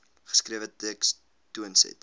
geskrewe teks toonset